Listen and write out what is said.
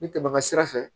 N bɛ tɛmɛ ka sira fɛ